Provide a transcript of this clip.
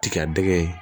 Tiga dɛgɛ